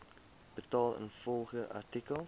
betaal ingevolge artikel